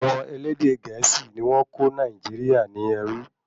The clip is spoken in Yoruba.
Àwọn elédè gẹ̀ésì ni wọ́n kó Nàìjíríà ní ẹrú